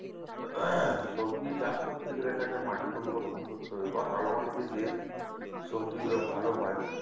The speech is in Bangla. সবজি চাষ করতে গেলে তাকে মাটি পরিবর্তন করতে হবে বা কালো মাটিতে যে সবজিগুলো ভালো হয়